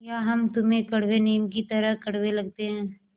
या हम तुम्हें कड़वे नीम की तरह कड़वे लगते हैं